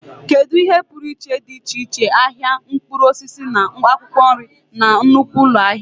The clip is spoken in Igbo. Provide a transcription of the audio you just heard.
Kedu ihe pụrụ iche dị iche iche ahịa mkpụrụ osisi na akwụkwọ nri na nnukwu ụlọ ahịa?